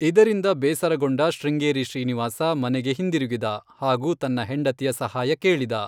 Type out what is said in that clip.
ಇದರಿಂದ ಬೇಸರಗೊಂಡ ಶೃಂಗೇರಿ ಶ್ರೀನಿವಾಸ ಮನೆಗೆ ಹಿಂದಿರುಗಿದ ಹಾಗೂ ತನ್ನ ಹೆಂಡತಿಯ ಸಹಾಯ ಕೇಳಿದ.